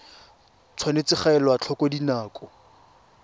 tshwanetse ga elwa tlhoko dinako